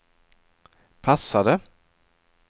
passade